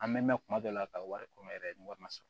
An mɛn mɛn kuma dɔ la ka wari kɔ yɛrɛ ni wari ma sɔrɔ